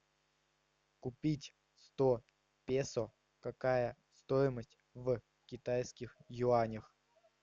купить сто песо какая стоимость в китайских юанях